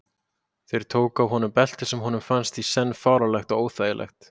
Þeir tóku af honum beltið sem honum fannst í senn fáránlegt og óþægilegt.